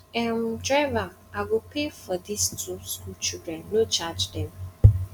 um driver i go pay for dis two school children no charge dem